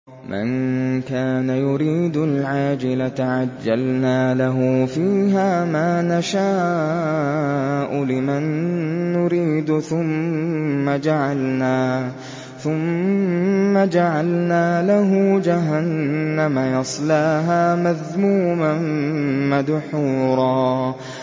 مَّن كَانَ يُرِيدُ الْعَاجِلَةَ عَجَّلْنَا لَهُ فِيهَا مَا نَشَاءُ لِمَن نُّرِيدُ ثُمَّ جَعَلْنَا لَهُ جَهَنَّمَ يَصْلَاهَا مَذْمُومًا مَّدْحُورًا